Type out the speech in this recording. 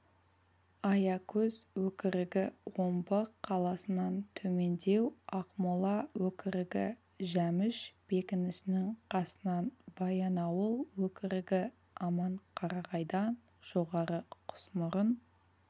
аякөз өкірігі омбы қаласынан төмендеу ақмола өкірігі жәміш бекінісінің қасынан баянауыл өкірігі аманқарағайдан жоғары құсмұрын